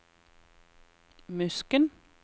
Musken